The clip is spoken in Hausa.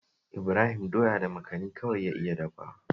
Ibrahim doya da makani kawai ya iya dafawa